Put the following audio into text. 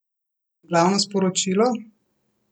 Glavno sporočilo?